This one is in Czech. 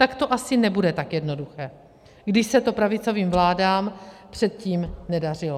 Tak to asi nebude tak jednoduché, když se to pravicovým vládám předtím nedařilo.